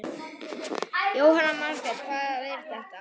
Jóhanna Margrét: Hvað er þetta?